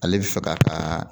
Ale bɛ fɛ k'a ka